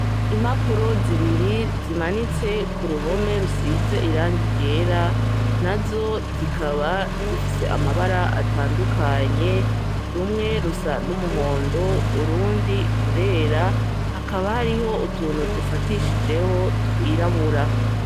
Impapuro zibiri zimanitse ku ruhome rusize irangi ryera, nazo zikaba zifise amabara atandukanye , rumwe rusa n' umuhondo , urundi rurera , hakaba hariho utuntu dufatishijeho twirabura.